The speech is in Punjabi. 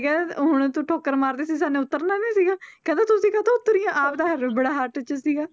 ਕਿਹਾ ਹੁਣ ਤੂੰ ਠੋਕਰ ਮਾਰ ਦਿੱਤੀ ਸੀ ਉੱਤਰਨਾ ਨੀ ਸੀਗਾ ਕਹਿੰਦਾ ਤੁਸੀਂ ਕਾਹਤੋਂ ਉੱਤਰ ਗਈਆਂ ਆਪ ਤਾਂ ਹੜਬੜਾਹਟ 'ਚ ਸੀਗਾ